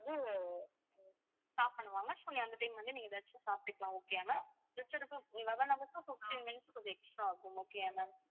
stop பண்ணுவாங்க so நீங்க அந்த time வந்து நீங்க ஏதாச்சும் சாப்பிட்டுக்கலாம் okay யா ma'am eleven hours க்கு fifteen minutes கொஞ்சம் extra ஆகும் okay யா ma'am